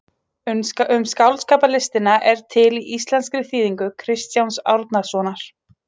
Um skáldskaparlistina er til í íslenskri þýðingu Kristjáns Árnasonar.